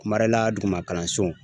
Marela duguma kalanso.